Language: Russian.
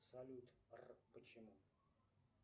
салют р почему